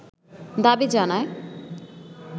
দাবি জানায়